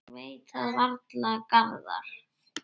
Ég veit það varla, Garðar.